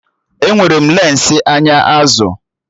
Enwere m lensi anya azụ